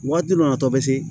Waati dɔ la a tɔ bɛ se